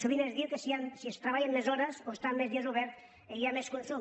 sovint es diu que si es treballen més hores o estan més dies oberts hi ha més consum